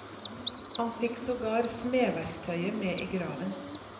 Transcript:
Han fikk sågar smedverktøyet med i graven.